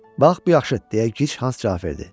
Bax bu yaxşıdır deyə Gic Hans cavab verdi.